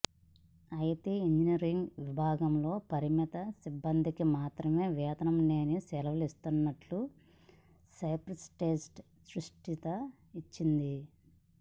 అయితే ఇంజినీరింగ్ విభాగంలోని పరిమిత సిబ్బందికి మాత్రమే వేతనం లేని సెలవులు ఇస్తున్నట్లు స్పైస్జెట్ స్పష్టత ఇచ్చింది